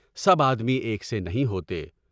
سب آدمی ایک سے نہیں ہوتے۔